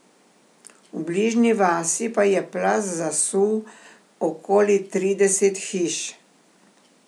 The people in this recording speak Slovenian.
V bližnji vasi pa je plaz zasul okoli trideset hiš.